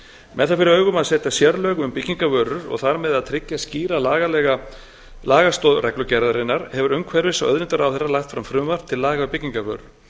með það fyrir augum að setja sérlög um byggingarvörur og þar með að tryggja skýra lagastoð reglugerðarinnar hefur umhverfis og auðlindaráðherra lagt fram frumvarp til laga um byggingarvörur